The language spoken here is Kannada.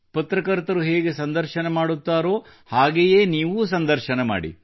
ಪತ್ರಕರ್ತ ಹೇಗೆ ಸಂದರ್ಶನ ಮಾಡುತ್ತಾರೋ ಹಾಗೆಯೇ ನೀವೂ ಸಂದರ್ಶನ ಮಾಡಿ